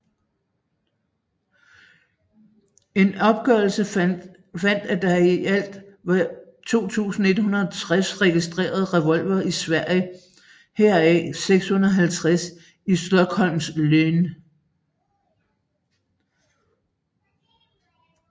En opgørelse fandt at der i alt var 2160 registrede revolvere i Sverige heraf 650 i Stockholms län